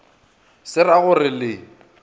se ra go re le